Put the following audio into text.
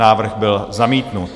Návrh byl zamítnut.